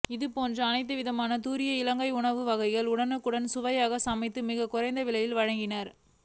இதன் போது அனைத்து விதமான துரித இலங்கை உணவு வகைகளை உடனுக்குடன் சுவையாக சமைத்து மிகக் குறைந்த விலையில் வழங்கினர்